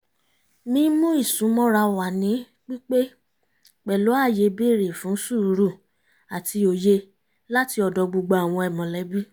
mímú ìsúnmọ́ra wà ní pípé pẹ̀lú ààyè bèrè fún sùúrù àti òye láti ọ̀dọ̀ gbogbo àwọn mọ̀lẹ́bí